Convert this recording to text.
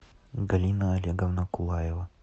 галина олеговна кулаева